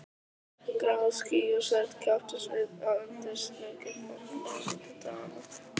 Grá ský og svört kepptust við að undirstrika fánýti daganna.